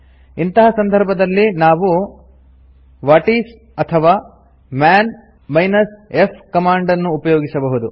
ಇಂತಹ ಸಂದರ್ಭದಲ್ಲಿ ನಾವು ವಾಟಿಸ್ ಅಥವಾ ಮನ್ f ಕಮಾಂಡ್ ನ್ನು ಉಪಯೋಗಿಸಬಹುದು